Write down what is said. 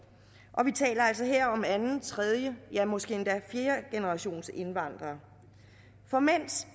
og vi taler altså her om anden tredje ja måske endda fjerdegenerationsindvandrere for mens